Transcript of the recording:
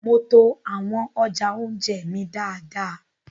Mo to awọn ọja ounjẹ mí dáadáa